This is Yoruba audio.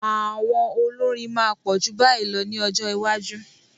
Àwọn olórin máa pọ̀ ju báyìí lọ ní ọjọ́ iwájú.